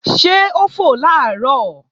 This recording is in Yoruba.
Ṣé ó fò làárọ̀?